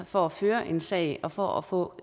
for at føre en sag og for at få